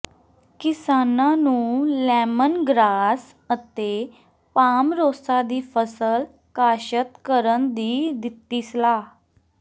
ਕਿਸਾਨਾਂ ਨੂੰ lemon grass ਅਤੇ ਪਾਮਰੋਸਾ ਦੀ ਫ਼ਸਲ ਕਾਸ਼ਤ ਕਰਨ ਦੀ ਦਿੱਤੀ ਸਲਾਹ